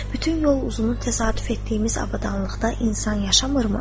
Bütün yol uzunu təsadüf etdiyimiz abadlıqda insan yaşayırmı?